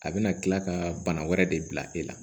A bɛna kila ka bana wɛrɛ de bila e la